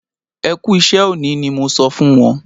Ẹ kú iṣẹ òní ni mo sọ fún wọn